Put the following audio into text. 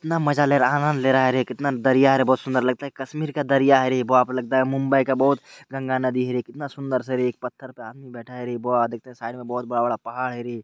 कितना मजा ले रहा है आनंद ले रहा है रे कितना दरिया है रे बहुत सुन्दर लगता है कश्मीर का दरिया है रे| बाप रे लगता है मुंबई का बोहोत गंगा नदी है रे कितना सुन्दर से है रे एक पत्थर पे एक आदमी बैठा है रे वाह देखते हैं साइड में बोहोत बड़ा-बड़ा पहाड़ है रे।